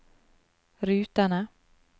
rutene